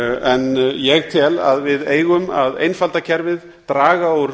en ég tel að við eigum að einfalda kerfið draga úr